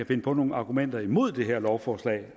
finde på nogle argumenter imod det her lovforslag